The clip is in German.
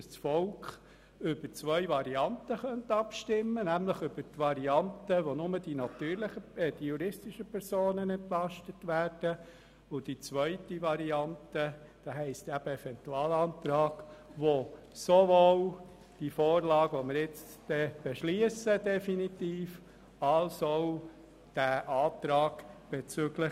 Einerseits kann es dann über die Variante abstimmen, welche im Rahmen der nun definitiv zu beschliessenden Vorlage nur die juristischen Personen entlastet, und anderseits über die Variante, welche auch die natürlichen Personen berücksichtigt.